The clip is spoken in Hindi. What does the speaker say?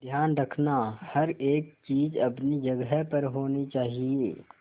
ध्यान रखना हर एक चीज अपनी जगह पर होनी चाहिए